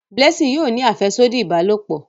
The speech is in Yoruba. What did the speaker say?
Blessing yóò ní afẹsodi ìbálòpọ̀